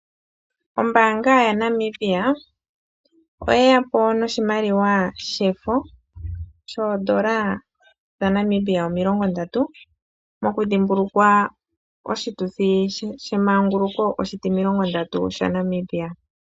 Ombaanga yaNamibia oyeya po noshimaliwa shefo shoondola dha Namibia omilongo ndatu, mokudhimbulukwa oshituthi shemanguluko oshitimilongo ndatu shaNamibia.